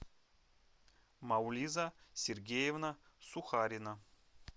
маулиза сергеевна сухарина